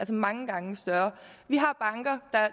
mange gange større vi har banker der er